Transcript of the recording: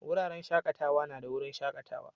Wuraren shakatawa na da wurin shakatawa.